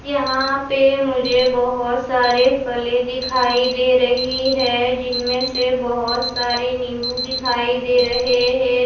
यहाँ पे मुझे बहुत सारे फले दिखाई दे रही है जिनमे में से बहुत सारे नीबू दिखाई दे रहे है।